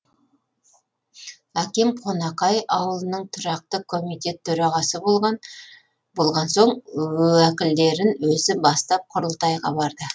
әкем қонақай ауылының тұрақты комитет төрағасы болған соң уәкілдерін өзі бастап құрылтайға барды